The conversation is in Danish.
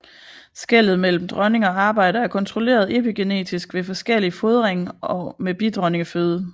Skellet mellem dronning og arbejder er kontrolleret epigenetisk ved forskellig fodring med bidronningeføde